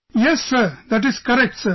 Yes sir, that is correct sir